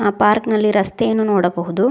ಆ ಪಾರ್ಕ್ ನಲ್ಲಿ ರಸ್ತೆಯನ್ನು ನೋಡಬಹುದು.